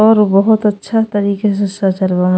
और बहुत अच्छा तरीके से सजवल बाने।